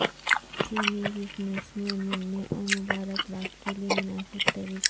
چینی بزنس میں ملنے اور مبارکباد کے لئے مناسب طریقہ